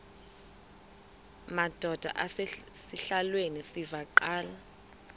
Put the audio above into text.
madod asesihialweni sivaqal